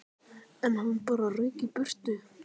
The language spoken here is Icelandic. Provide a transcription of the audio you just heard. En hann bara rauk í burtu.